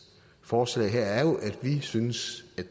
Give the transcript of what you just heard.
forslag her er jo at vi synes